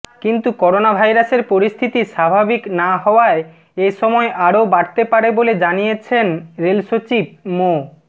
কিন্তু করোনাভাইরাসের পরিস্থিতি স্বাভাবিক না হওয়ায় এ সময় আরও বাড়তে পারে বলে জানিয়েছেন রেলসচিব মো